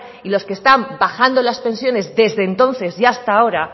y los que están bajando las pensiones desde entonces y hasta ahora